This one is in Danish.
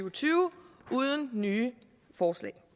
og tyve uden nye forslag